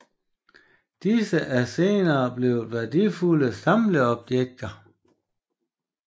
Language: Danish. Disse er senere blevet værdifulde samlerobjekter